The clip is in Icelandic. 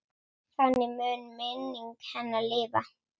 Þannig mun minning hennar lifa.